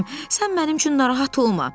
Sən mənim üçün narahat olma.